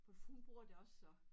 For hun bruger det også så